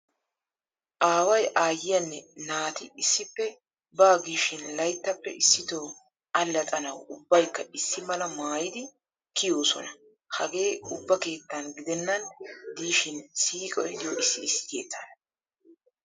Aaway, aayyiyaanne naati issippe baa gishin layttaappe issitoo allaxxanawu ubbaykka issi mala maayidi kiyoosona. Hagee ubba keettan gidennan diishin siiqoy diyo issi issi keettaana.